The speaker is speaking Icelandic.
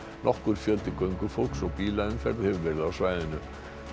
nokkur fjöldi göngufólks og bílaumferð hefur verið á svæðinu